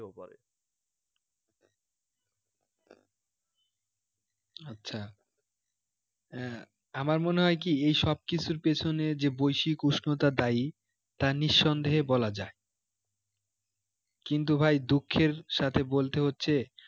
আচ্ছা আহ আমার মনে হয় কি এসব কিছুর পেছনে যে বৈশ্বিক উষ্ণতা দায়ী তা নিঃসন্দেহে বলা যায় কিন্তু ভাই দুঃখের সাথে বলতে হচ্ছে